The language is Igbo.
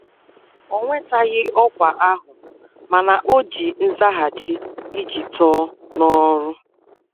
O nwetaghị ọkwa ahụ, mana o ji nzaghachi iji too n'ọrụ